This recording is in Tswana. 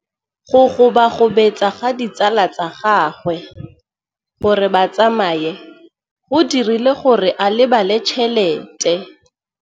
Go gobagobetsa ga ditsala tsa gagwe, gore ba tsamaye go dirile gore a lebale tšhelete.